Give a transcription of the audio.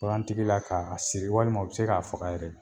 Bagantigi la k'a a siri walima u bɛ se k'a faga yɛrɛ